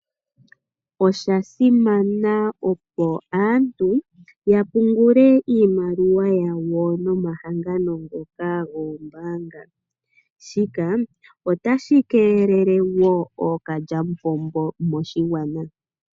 Osha simana opo aantu ya pungule iimaliwa yawo nomahangano ngoka goombaanga, shika otashi keelele wo ookalya mupombo moshigwana.